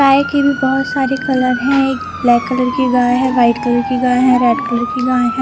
गाय की भी बहोत सारे कलर है एक ब्लैक कलर की गाय हैं व्हाइट कलर की गाय हैं रेड कलर की गाय है।